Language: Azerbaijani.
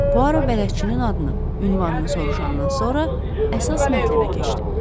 Puaro bələdçinin adını, ünvanını soruşandan sonra əsas mətləbə keçdi.